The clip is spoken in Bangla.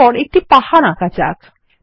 এরপর একটি পাহাড় আঁকা যাক